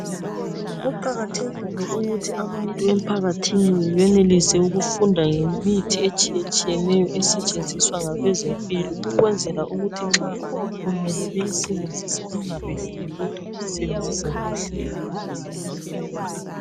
Kuqakathekile ukuthi abantu emphakathini benelise ukufunda ngemithi etshiyetshiyeneyo esetshenziswa ngabeze mpilo ukwenzela ukuthi nxa kumele beyisebenzise ingabehluli kodwa beyisebenzise kuhle.